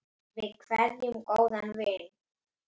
Við kveðjum góðan vin.